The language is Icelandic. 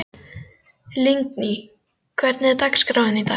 Lingný, hvernig er dagskráin í dag?